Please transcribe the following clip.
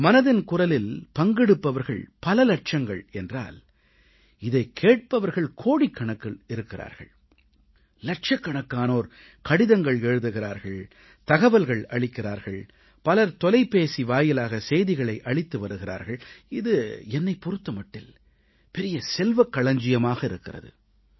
மனதின் குரலில் பங்கெடுப்பவர்கள் பல இலட்சங்கள் என்றால் இதைக் கேட்பவர்கள் கோடிக்கணக்கில் இருக்கிறார்கள் இலட்சக்கணக்கானோர் கடிதங்கள் எழுதுகிறார்கள் தகவல்கள் அளிக்கிறார்கள் பலர் தொலைபேசி வாயிலாகச் செய்திகளை அளித்து வருகிறார்கள் இது என்னைப் பொறுத்த மட்டில் பெரிய செல்வக் களஞ்சியமாக இருக்கிறது